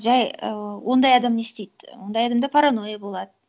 жай і ондай адам не істейді ондай адамда паранойя болады